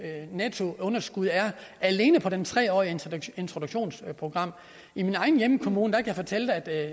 nettounderskud er alene på det tre årige introduktionsprogram i min egen hjemkommune kan jeg fortælle at der